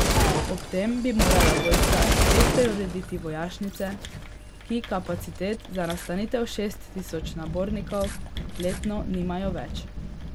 Ob tem bi morala vojska spet preurediti vojašnice, ki kapacitet za nastanitev šest tisoč nabornikov letno nimajo več.